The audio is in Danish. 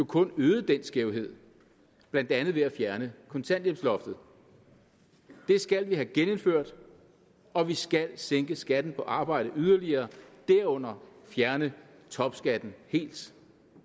kun øget den skævhed blandt andet ved at fjerne kontanthjælpsloftet det skal vi have genindført og vi skal sænke skatten på arbejde yderligere derunder fjerne topskatten helt